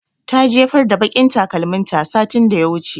Ta jefar da baƙin takalmin ta satin da ya wuce